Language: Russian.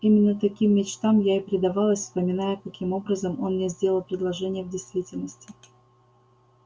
именно таким мечтам я и предавалась вспоминая каким образом он мне сделал предложение в действительности